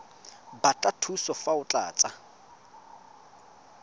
batla thuso fa o tlatsa